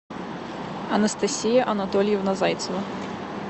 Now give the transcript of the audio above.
анастасия анатольевна зайцева